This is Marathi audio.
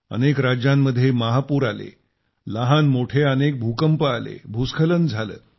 अनेक राज्यांमध्ये महापूर आले लहानमोठे अनेक भूकंप आले भूस्खलन झालं